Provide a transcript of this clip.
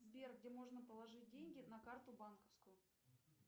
сбер где можно положить деньги на карту банковскую